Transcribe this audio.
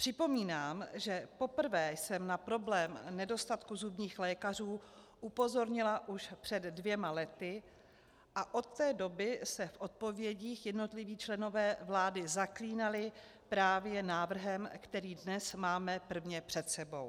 Připomínám, že poprvé jsem na problém nedostatku zubních lékařů upozornila už před dvěma lety a od té doby se v odpovědích jednotliví členové vlády zaklínali právě návrhem, který dnes máme prvně před sebou.